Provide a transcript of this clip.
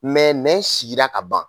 Mɛ nɛn sigira ka ban